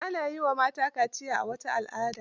Ana yi wa mata kaziya a wata al'adara.